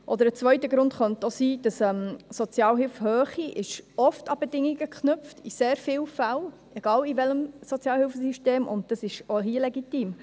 Ein zweiter Grund könnte sein, dass die Sozialhilfehöhe oft an Bedingungen geknüpft ist, in sehr vielen Fällen, egal in welchem Sozialhilfesystem, und dies ist auch hier legitim.